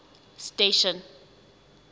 station